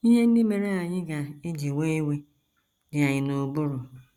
Ihe ndị mere anyị ga - eji wee iwe dị anyị n’ụbụrụ....